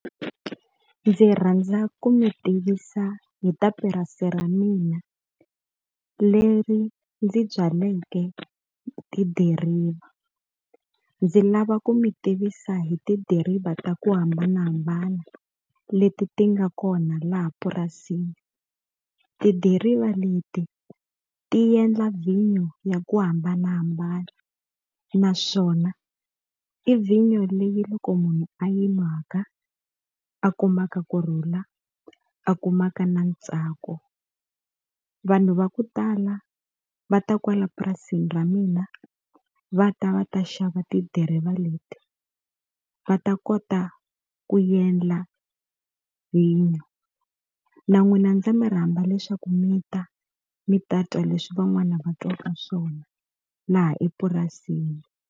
Ndzi rhandza ku mi tivisa hi ta purasi ra mina, leri ndzi byaleke tidiriva. Ndzi lava ku mi tivisa hi tidiriva ta ku hambanahambana leti ti nga kona laha purasini. Tidiriva leti ti endla vhinyo ya ku hambanahambana, naswona i vhinyo leyi loko munhu a yi nwaka a kumaka kurhula, a kumaka na ntsako. Vanhu va ku tala va ta kwala purasini ra mina va ta va ta xava tidiriva leti, va ta kota ku endla vhinyo. Na n'wina ndza mi rhamba leswaku mi ta mi ta twa leswi van'wana va twaka swona laha epurasini.